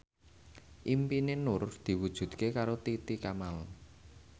impine Nur diwujudke karo Titi Kamal